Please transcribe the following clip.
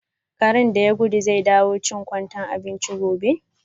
Karen da ya gudu zai dawo chin kwantai abinchi gobe.